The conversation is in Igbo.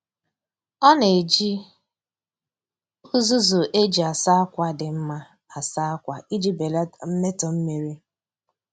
Ọ na-eji uzuzu e ji asa akwa dị mma asa akwa iji belata mmetọ mmiri.